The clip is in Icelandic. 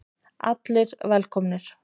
Allir velkomnir.